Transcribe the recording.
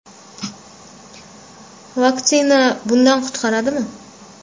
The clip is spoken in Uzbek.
Vaksina bundan qutqaradimi?.